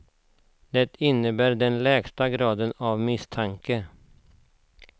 Det innebär den lägsta graden av misstanke.